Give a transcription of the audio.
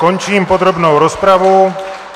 Končím podrobnou rozpravu.